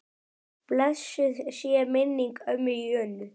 Blessuð sé minning ömmu Jönu.